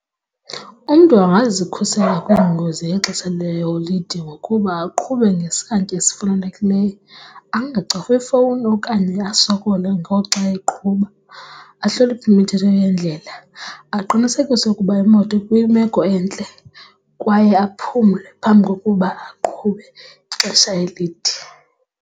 Umntu angazikhusela kwiingozi ngexesha leeholide ngokuba aqhube ngesantya esifanelekileyo, angacofi ifowuni okanye asokole ngoku xa eqhuba, ahloniphe imithetho yendlela. Aqinisekise ukuba imoto ikwimeko entle kwaye aphumle phambi kokuba aqhube ixesha elide.